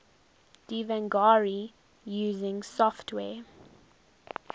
devanagari using software